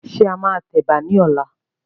Ṣé a máa tẹ Ẹ̀bà ni ọ̀la?